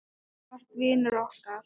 Þú varst vinur okkar.